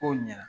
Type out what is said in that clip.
Kow ɲɛna